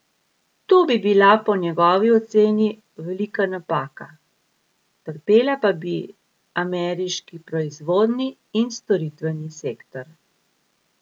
To bi bila po njegovi oceni velika napaka, trpela pa bi ameriški proizvodni in storitveni sektor.